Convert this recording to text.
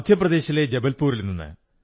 മധ്യപ്രദേശിലെ ജബൽപൂരിൽ നിന്ന്